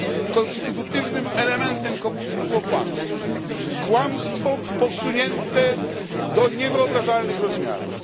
Otóż konstytutywnym elementem komunizmu było kłamstwo, kłamstwo posunięte do niewyobrażalnych rozmiarów.